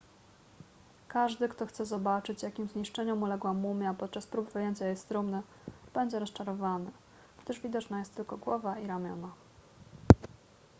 każdy kto chce zobaczyć jakim zniszczeniom uległa mumia podczas prób wyjęcia jej z trumny będzie rozczarowany gdyż widoczna jest tylko głowa i ramiona